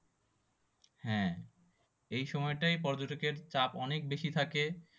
হ্যাঁ এই সময় টাই পর্যটকের চাপ অনেক বেশি থাকে